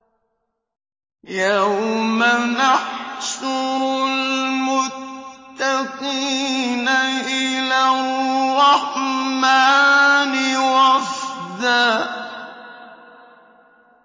يَوْمَ نَحْشُرُ الْمُتَّقِينَ إِلَى الرَّحْمَٰنِ وَفْدًا